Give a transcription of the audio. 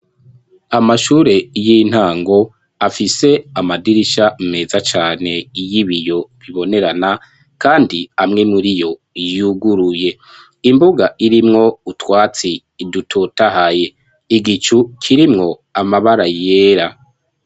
Amashure y'intango afise amadirisha meza cane iyoibiyo bibonerana, kandi amwe muri yo yuguruye imbuga irimwo utwatsi idutotahaye igicu kirimwo amabara yera.